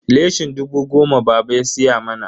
leshin dubu goma baba ya siya mana.